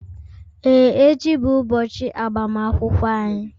Ee, echi bụ ụbọchị agbamakwụkwọ anyị.